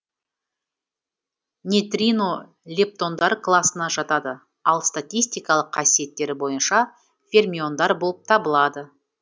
нейтрино лептондар класына жатады ал статистикалық қасиеттері бойынша фермиондар болып табылады